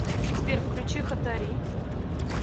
сбер включи хатари